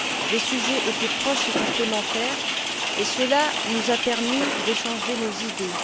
Les sujets étaient proches et complémentaires et cela nous a permis d'échanger nos idées.